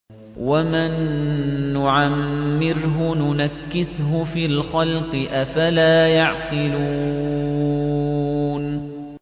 وَمَن نُّعَمِّرْهُ نُنَكِّسْهُ فِي الْخَلْقِ ۖ أَفَلَا يَعْقِلُونَ